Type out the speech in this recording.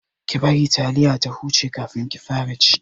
Ki bari taliyar ta huce kafin ki fara ci!